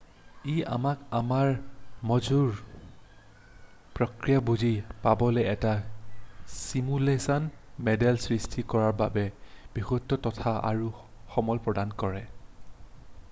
ই আমাক আমাৰ মগজুৰ প্ৰক্ৰিয়া বুজি পাবলৈ এটা ছিমুলেশ্যন মডেল সৃষ্টি কৰাৰ বাবে বহুতো তথ্য আৰু সমল প্ৰদান কৰে